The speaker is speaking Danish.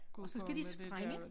Gået på med det dér